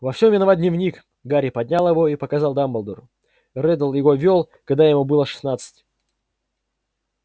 во всем виноват дневник гарри поднял его и показал дамблдору реддл его вёл когда ему было шестнадцать